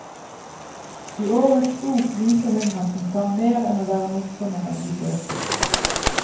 I årets bok viser hun at hun kan mer enn å være morsommere enn de fleste.